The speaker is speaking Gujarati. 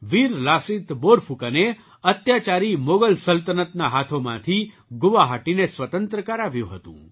વીર લાસિત બોરફૂકને અત્યાચારી મોગલ સલ્તનતના હાથોમાંથી ગુવાહાટીને સ્વતંત્ર કરાવ્યું હતું